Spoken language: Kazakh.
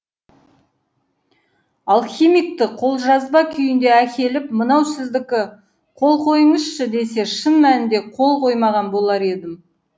алхимикті қолжазба күйінде әкеліп мынау сіздікі қол қойыңызшы десе шын мәнде қол қоймаған болар едім